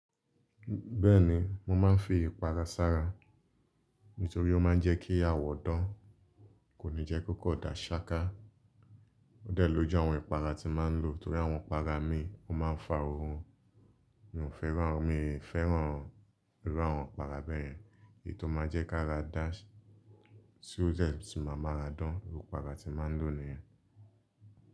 Bẹ́ẹ̀ni, mo máa ń fi ìpara sára nítorí ó máa ń jẹ́ kí awọ̀ dán, kò ní jẹ́ kó kọ̀ dà ṣááká. Ó dẹ̀ lóju àwọn ìpara ti máa ń lò torí àwọn ìpara mi, ó máa ń fa orun. Mi ò fẹ́ràn, mi fẹ́ràn irú àwọn ìpara bẹ́ẹ̀ yẹn. Èyí tó máa jẹ́ kára da tí o de tun màá ma ra dán, irú ìpara tí màá ń lò nìyẹn.